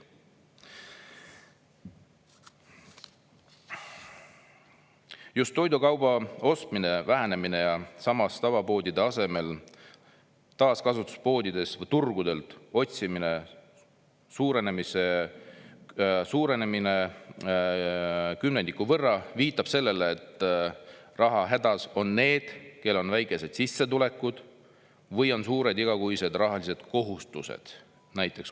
"Just toidukauba ostmise vähenemine ja samas tavapoodide asemel taaskasutuspoodidest või turgudelt ostmise suurenemine kümnendiku võrra viitab sellele, et rahahädas on need, kel on väikesed sissetulekud ja/või suured igakuised rahalised kohustused ."